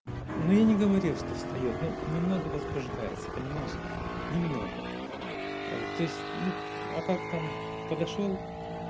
ну я не говорил что встаёт ну немного возбуждается понимаешь немного то есть ну а так там подошёл